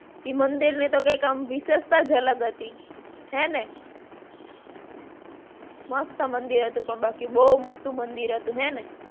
ઈ મંદરની તો કઈંક આમ વિશેષતા જ અલગ હતી. હેને? મસ્ત મંદિર હતું. પણ બાકી બહુ મોટ્ટું મંદિર હતું. હેને?